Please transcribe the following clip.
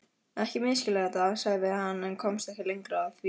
Ekki misskilja þetta, sagði hann en komst ekki lengra því